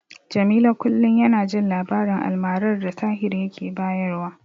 Jamilu kullum yana jin labarin almarar da Tahir yake bayarwa.